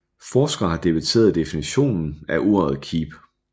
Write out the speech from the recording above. Forskere har debatteret definitionen af ordet keep